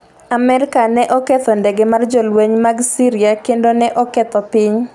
Amerka ne oketho ndege mar jolweny mag Syria kendo ne oketho piny